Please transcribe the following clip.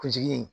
Kunsigi